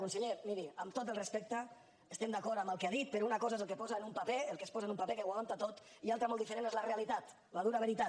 conseller miri amb tot el respecte estem d’acord amb el que ha dit però una cosa és el que posa en un paper el que es posa en un paper que ho aguanta tot i una altra molt diferent és la realitat la dura veritat